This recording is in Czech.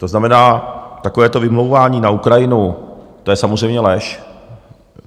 To znamená, takové to vymlouvání na Ukrajinu, to je samozřejmě lež.